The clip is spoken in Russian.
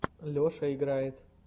леша играет